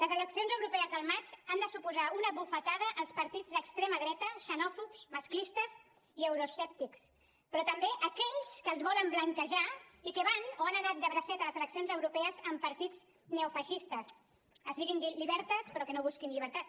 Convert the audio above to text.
les eleccions europees del maig han de suposar una bufetada als partits d’extrema dreta xenòfobs masclistes i euroescèptics però també a aquells que els volen blanquejar i que van o han anat de bracet a les eleccions europees amb partits neofeixistes es diguin libertas però que no busquin llibertat